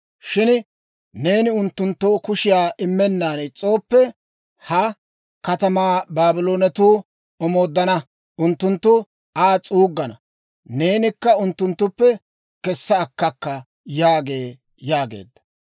Shin neeni unttunttoo kushiyaa immennan is's'ooppe, ha katamaa Baabloonetuu omooddana; unttunttu Aa s'uuggana; neenikka unttunttuppe kessa akkakka› yaagee» yaageedda.